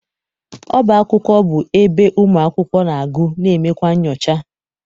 Ọba akwụkwọ bụ ebe ụmụakwụkwọ na- agụ na emekwa nchọcha.